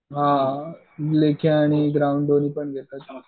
हां लेखी आणि ग्राउंड दोन्ही पण घेतात.